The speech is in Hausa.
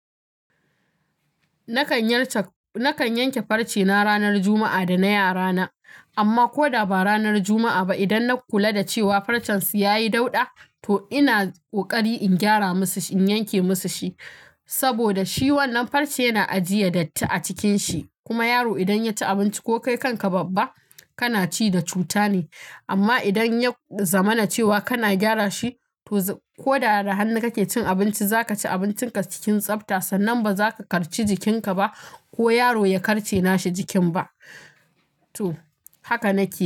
Nakan yanke farce na ranar Juma'a da na yara na. Amma ko da ba ranar Juma'a ba, idan na kula da cewa farcen su ya yi dauɗa, to ina ƙoƙari in gyara masa, in yanke masa shi. Saboda shi wannan farce yana ajiye datti a cikin shi. Kuma yaro idan ya ci abinci ko kai kanka babba kana ci da cuta ne. Amma idan ya zamana cewa kana gyara shi, to ko da hannu kake cin abinci, za ka ci abincin ka cikin tsafta, sannan ba za ka karce jikin ka ba ko yaro ya karce nashi jikin ba. To, haka nake yi.